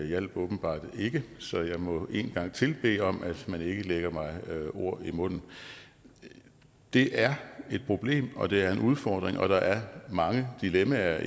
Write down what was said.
hjalp åbenbart ikke så jeg må en gang til bede om at man ikke lægger mig ord i munden det er et problem og det er en udfordring og der er mange dilemmaer